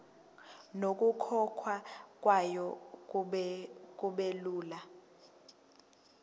nokukhokhwa kwayo kubelula